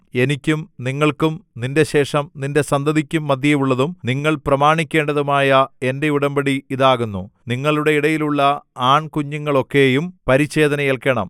എനിക്കും നിങ്ങൾക്കും നിന്റെ ശേഷം നിന്റെ സന്തതിക്കും മദ്ധ്യേയുള്ളതും നിങ്ങൾ പ്രമാണിക്കേണ്ടതുമായ എന്റെ ഉടമ്പടി ഇതാകുന്നു നിങ്ങളുടെ ഇടയിലുള്ള ആൺകുഞ്ഞുങ്ങളൊക്കെയും പരിച്ഛേദന ഏൽക്കേണം